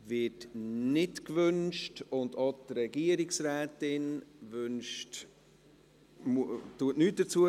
– Dies wird nicht gewünscht, und auch die Regierungsrätin sagt nichts dazu.